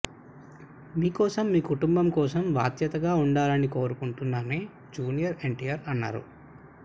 మీకోసం మీ కుటుంబం కోసం బాధ్యతగా ఉండాలని కోరుకుంటున్నానని జూనియర్ ఎన్టీఆర్ పేర్కొన్నారు